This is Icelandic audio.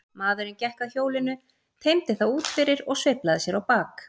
Maðurinn gekk að hjólinu, teymdi það út fyrir og sveiflaði sér á bak.